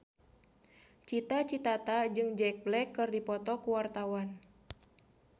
Cita Citata jeung Jack Black keur dipoto ku wartawan